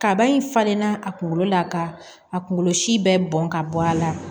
Kaba in falenna a kunkolo la ka a kunkolo si bɛɛ bɔn ka bɔ a la